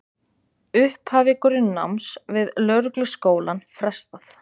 Upphafi grunnnáms við lögregluskólann frestað